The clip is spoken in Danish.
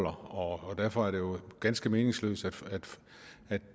og derfor er det jo ganske meningsløst at